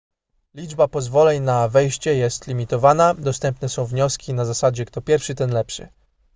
liczba pozwoleń na wejście jest limitowana dostępne są wnioski na zasadzie kto pierwszy ten lepszy